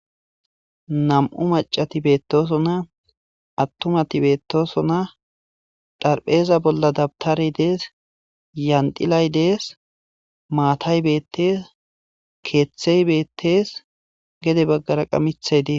Nam7u macati beettoosonna attumati beettoosona dharpheeza bolla dabtare dees yandilay dees maatayetekeeththey beettees gede baggara qamithaydee.